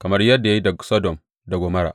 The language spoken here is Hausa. kamar yadda ya yi da Sodom da Gomorra.